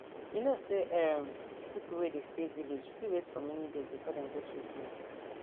you know say erm pipo wey dey stay village fit wait for many days before dem get treatment